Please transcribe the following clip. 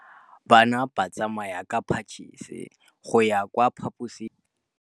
Bana ba tsamaya ka phašitshe go ya kwa phaposiborobalong.